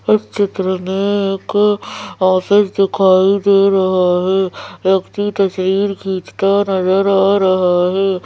इस चित्र में एक ऑफिस दिखाई दे रहा है व्यक्ति तस्वीर खींचता नज़र आ रहा है।